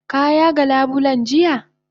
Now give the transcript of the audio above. Ka yaga labulen jiya?